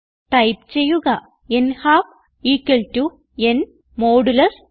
type ചെയ്യുക ൻഹാൽഫ് n 2 0